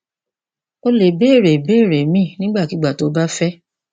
o lè béèrè ìbéèrè míì nígbàkigbà tó o bá fẹ